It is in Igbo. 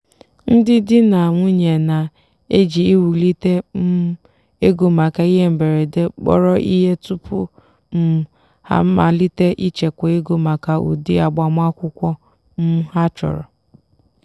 ndị di na nwunye na-eji iwulite um ego maka ihe mberede kpọrọ ihe tupu um ha amalite ichekwa ego maka ụdị agbamakwụkwọ um ha chọrọ.